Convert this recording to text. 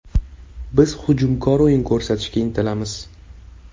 Biz hujumkor o‘yin ko‘rsatishga intilamiz.